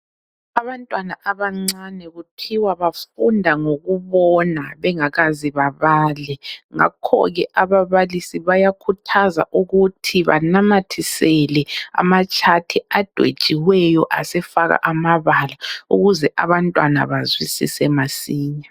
Abantwana abancane kuthiwa bafunda ngokubona bengakaze babale. Ngakho ke ababalisi bayakhuthazwa ukuthi banamathisele amatshathi adwetshiweyo asefakwa amabala ukuze abantwana bazwisise masinya.